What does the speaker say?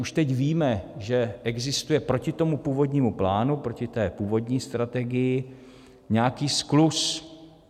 Už teď víme, že existuje proti tomu původnímu plánu, proti té původní strategii, nějaký skluz.